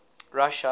russia